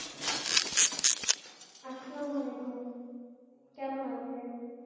আসসালাম ওলাইকুম কেমন আছেন?